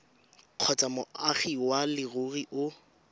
kgotsa moagi wa leruri o